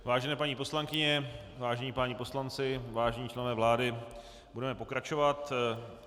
Vážené paní poslankyně, vážení páni poslanci, vážení členové vlády, budeme pokračovat.